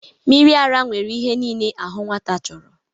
Mmiri ara nwere ihe niile ahụ nwata chọrọ